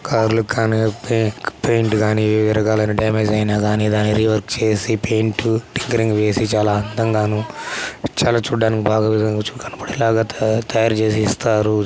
కార్ల కు కానీ పే--పెయింట్ కానీ ఇరగాలి డామేజ్ అయిన కానీ దాన్ని రివోర్క్ చేసి పైంటు స్టైకెరింగ్ వేసి దాన్ని చాలా అందంగాను చాలా చూడానికి బాగా కనపడేలా తాయారు చేసి ఇస్తారు.